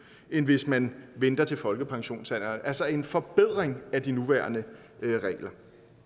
end hvis man venter til folkepensionsalderen altså en forbedring af de nuværende regler